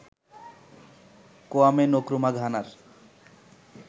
Kwame Nkrumah ঘানার